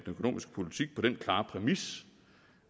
økonomiske politik på den klare præmis